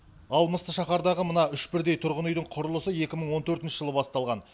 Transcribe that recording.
ал мысты шаһардағы мына үш бірдей тұрғын үйдің құрылысы екі мың он төртінші жылы басталған